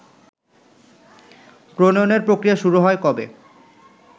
প্রনয়ণের প্রক্রিয়া শুরু হয় কবে